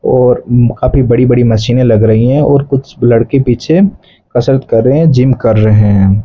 और म्म् काफी बड़ी बड़ी मशीन लग रही हैं और कुछ लड़के पीछे कसरत कर रहे हैं जिम कर रहे हैं।